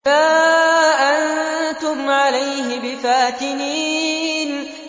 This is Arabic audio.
مَا أَنتُمْ عَلَيْهِ بِفَاتِنِينَ